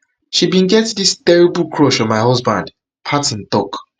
she bin get dis terrible crush on my husband parton tok